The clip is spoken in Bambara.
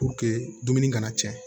dumuni kana tiɲɛ